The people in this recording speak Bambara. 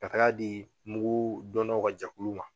Ka taga di mugu donnaw ka jɛkulu ma